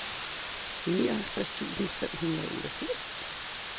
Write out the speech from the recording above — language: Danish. nioghalvtreds tusind fem hundrede og otteogfirs